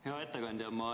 Hea ettekandja!